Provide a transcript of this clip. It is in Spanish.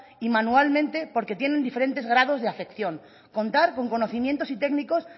y manualmente porque tienen diferentes grados de afección contar con conocimientos y técnicos